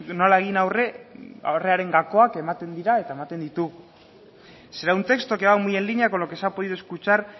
horrelako gakoak ematen dira eta ematen ditugu será un texto que va muy en línea con lo que se ha podido escuchar